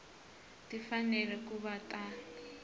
ti fanele ku va ta